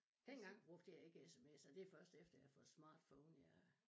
Dengang brugte jeg ikke smser det først efter jeg har fået smartphone jeg